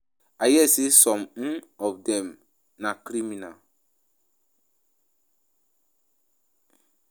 I hear say some um of dem na criminals wey comot from prison